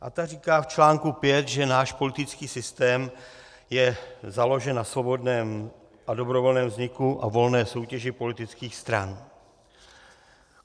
A ta říká v článku 5, že náš politický systém je založen na svobodném a dobrovolném vzniku a volné soutěži politických stran.